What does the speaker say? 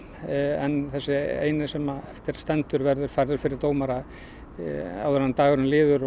en þessi eini sem eftir stendur verður færður fyrir dómara áður en dagurinn líður